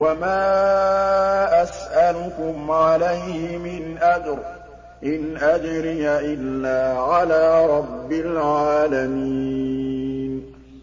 وَمَا أَسْأَلُكُمْ عَلَيْهِ مِنْ أَجْرٍ ۖ إِنْ أَجْرِيَ إِلَّا عَلَىٰ رَبِّ الْعَالَمِينَ